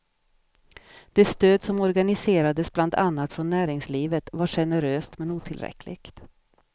Det stöd som organiserades bland annat från näringslivet var generöst men otillräckligt.